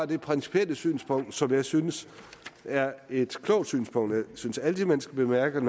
det principielle synspunkt som jeg synes er et klogt synspunkt jeg synes altid at man skal bemærke